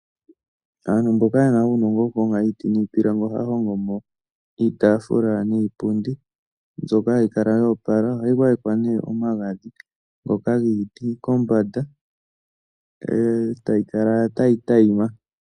Aantu mboka ye na uunongo wokuhonga iiti niipilangi ohaya hongo mo iitaafula niipundi mbyoka hayi kala ya opala. Ohayi gwayekwa nduno omagadhi ngoka giiti kombanda e tayi kala tayi adhima.